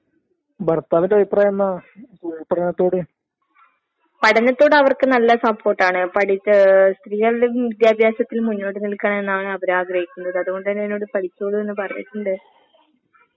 അതിന് മുൻഗണന കൊട്ക്ക്ക. വെറുതെ വീട്ടിലിരുന്ന് സമയം കളയാൻ നോക്കണ്ട. കാരണം എങ്ങനേങ്കിലും കോഴ്‌സാന്നെങ്കില് കോഴ്‌സ് കംപ്ലീറ്റ് ചെയ്യാൻ നോക്ക്ക. വെറുതെ വീട്ടിലിരിക്കാണ്ട്. ആഹ് ആഹ് നമ്മള് മനസ്സിലാക്കേണ്ട കാര്യംന്ന് പറഞ്ഞാല്